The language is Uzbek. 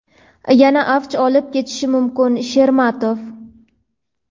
yana avj olib ketishi mumkin – Shermatov.